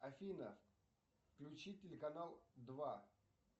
афина включи телеканал два